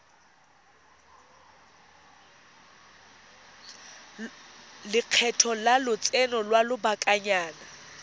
lekgetho la lotseno lwa lobakanyana